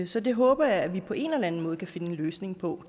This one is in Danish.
så det håber jeg at vi på en eller anden måde kan finde en løsning på